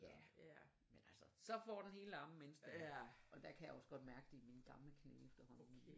Ja men altså så får den lige hele armen mens det er og der kan jeg også godt mærke det i mine gamle knæ efterhånden